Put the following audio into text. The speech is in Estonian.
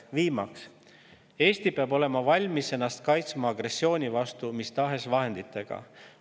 Viimaks, Eesti peab olema valmis ennast kaitsma agressiooni vastu mis tahes vahenditega.